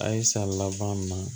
A ye san laban na